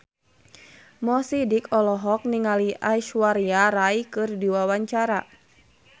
Mo Sidik olohok ningali Aishwarya Rai keur diwawancara